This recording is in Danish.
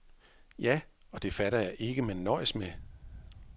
Ja, og det fatter jeg ikke, man kan nøjes med.